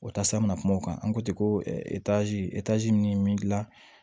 O tasa bɛna kuma o kan an ko ten ko min dilan